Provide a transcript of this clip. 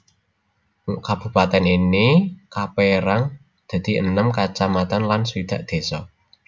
Kabupatèn ini kapérang dadi enem kacamatan lan swidak désa